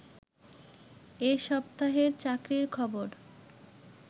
এ সাপ্তাহের চাকরির খবর